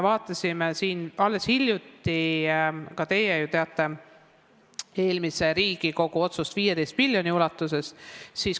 Te ju teate eelmise Riigikogu hiljutist otsust 15 miljoni kohta.